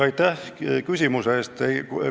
Aitäh küsimuse eest!